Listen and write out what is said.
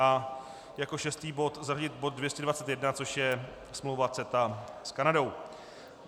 A jako šestý bod zařadit bod 221, což je smlouva CETA s Kanadou.